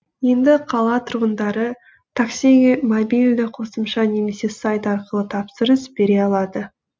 енді қала тұрғындары таксиге мобильді қосымша немесе сайт арқылы тапсырыс бере алады